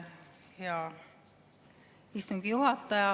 Hea istungi juhataja!